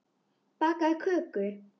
Bakaðu köku.